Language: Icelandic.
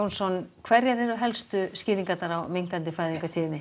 hverjar eru helstu skýringar á minnkandi fæðingartíðni